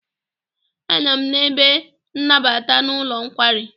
Anọ m n'ebe nnabata n'ụlọ nkwari.